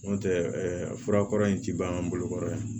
N'o tɛ fura kɔrɔ in tɛ ban an ka bolokɔrɔ yan